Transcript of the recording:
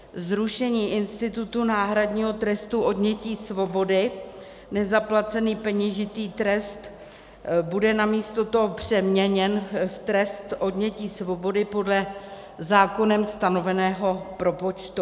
zrušení institutu náhradního trestu odnětí svobody - nezaplacený peněžitý trest bude namísto toho přeměněn v trest odnětí svobody podle zákonem stanoveného propočtu;